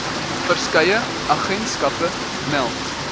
verskeie agentskappe meld